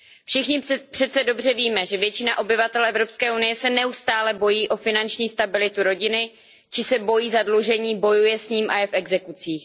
Všichni přeci dobře víme, že většina obyvatel EU se neustále bojí o finanční stabilitu rodiny či se bojí zadlužení, bojuje s ním a je v exekucích.